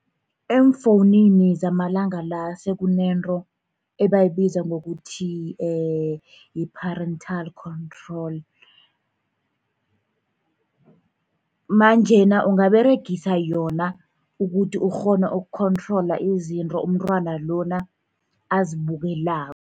Eemfowunini zamalanga la sekunento ebayibiza ngokuthi yi-parental control. Manjena ungaberegisa yona, ukuthi ukghone uku-control izinto umntwana lona azibukelako.